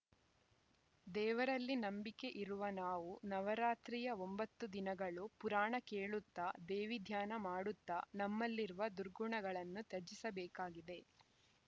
ದೇವರಲ್ಲಿ ನಂಬಿಕೆ ಇರುವ ನಾವು ನವರಾತ್ರಿಯ ಒಂಬತ್ತು ದಿನಗಳು ಪುರಾಣ ಕೇಳುತ್ತ ದೇವಿ ಧ್ಯಾನ ಮಾಡುತ್ತ ನಮ್ಮಲ್ಲಿರುವ ದುರ್ಗುಣಗಳನ್ನು ತಜಿಸಬೇಕಾಗಿದೆ